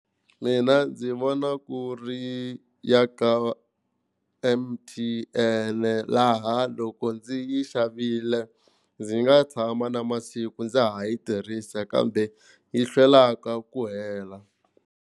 Mina ndzi vona ku ri ya ka M_T_N, laha loko ndzi yi xavile ndzi nga tshama na masiku ndza ha yi tirhisa kambe yi hlwelaka ku hela.